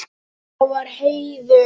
Það var heiður.